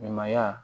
Ɲɛnɛmaya